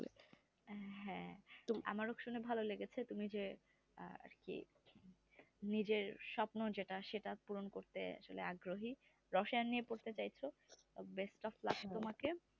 হ্যাঁ আমার শুনে ভালো লেগেছে তুমি যে আহ আরকি নিজের স্বপ্ন যেইটা সেইটা পূরণ করতে অগগ্রহী রসায়ন নিয়ে পড়তে চাইছো best of luck তোমাকে